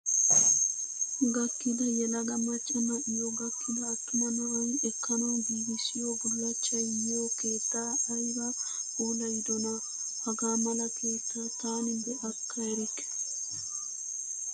Gakkida yelaga macca na"iyoo gakkida attuma na"ayi ekkanawu giigissiyoo bullachchayi yiyoo keettaa ayiba puulayidonaa! Haga mala keettaa taani be"akka erikke.